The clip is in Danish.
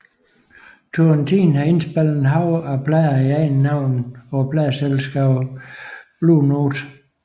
Turrentine har indspillet et hav af plader i eget navn på pladeselskabet Blue Note